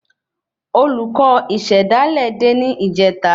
Olùkọ ìsèdálè dé ni ìjeta